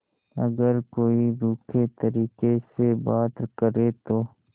अगर कोई रूखे तरीके से बात करे तो